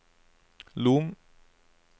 Lom